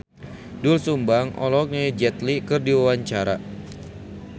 Doel Sumbang olohok ningali Jet Li keur diwawancara